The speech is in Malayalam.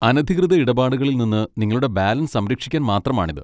അനധികൃത ഇടപാടുകളിൽ നിന്ന് നിങ്ങളുടെ ബാലൻസ് സംരക്ഷിക്കാൻ മാത്രമാണിത്.